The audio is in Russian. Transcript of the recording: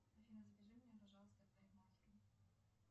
афина запиши меня пожалуйста к парикмахеру